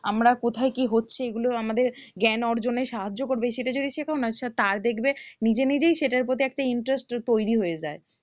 আমরা কোথায় কি হচ্ছে এগুলো আমাদের জ্ঞান অর্জনে সাহায্য করবে সেটা যদি তার দেখবে নিজে নিজেই সেটার প্রতি একটা interest তৈরি হয়ে যায়